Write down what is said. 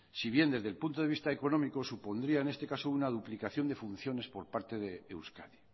si bien desde el punto de vista económico supondría en este caso una duplicación de funciones por parte de euskadi